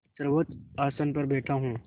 सर्वोच्च आसन पर बैठा हूँ